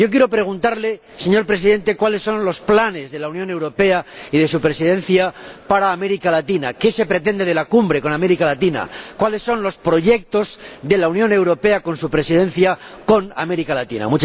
Quiero preguntarle, señor Presidente, cuáles son los planes de la Unión Europea y de su Presidencia para América Latina, qué se espera de la Cumbre con América Latina, cuáles son los proyectos de la Unión Europea y su Presidencia con América Latina.